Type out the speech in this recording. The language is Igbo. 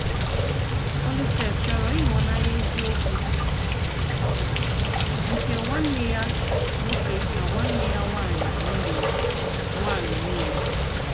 Òlísè chọ́rọ ịhụ́nanya eziokwu nke nwanne ya nwoke na nwanne ya nwanyị niile. nwanyị niile.